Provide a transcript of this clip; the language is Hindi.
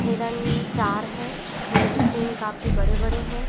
हिरण चार है उनके सींग काफी बड़े-बड़े है।